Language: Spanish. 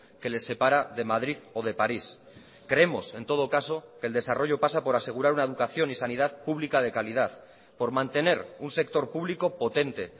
que les separa de madrid o de paris creemos en todo caso que el desarrollo pasa por asegurar una educación y sanidad pública de calidad por mantener un sector público potente